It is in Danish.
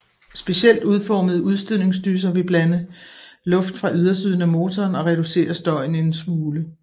Specielt udformede udstødningsdyser vil iblande luft fra ydersiden af motoren og reducere støjen en smule